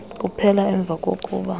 kuphela emva kokuba